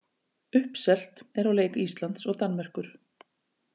Uppselt er á leik Íslands og Danmerkur.